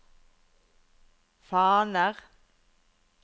faner